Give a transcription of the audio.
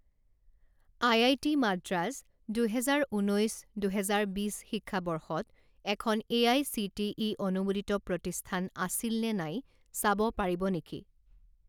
IIT. Madras দুহেজাৰ ঊনৈছ দুহেজাৰ বিছ শিক্ষাবৰ্ষত এখন এআইচিটিই অনুমোদিত প্ৰতিষ্ঠান আছিল নে নাই চাব পাৰিব নেকি?